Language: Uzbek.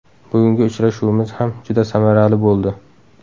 Bugungi uchrashuvimiz ham juda samarali bo‘ldi.